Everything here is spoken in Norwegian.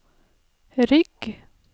rygg